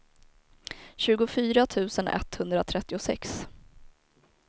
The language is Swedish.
tjugofyra tusen etthundratrettiosex